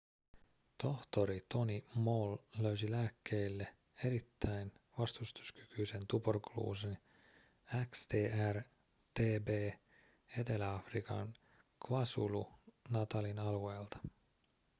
tohtori tony moll löysi lääkkeille erittäin vastustuskykyisen tuberkuloosin xdr-tb etelä-afrikan kwazulu-natalin alueelta